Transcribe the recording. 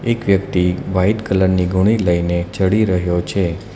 એક વ્યક્તિ white colour ની ગુણી લઈને ચડી રહ્યો છે.